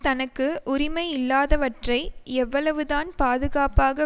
தனக்கு உரிமையல்லாதவற்றை எவ்வளவுதான் பாதுகாப்பாக